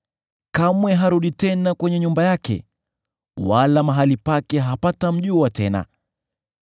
Kamwe harudi tena nyumbani mwake; wala mahali pake hapatamjua tena.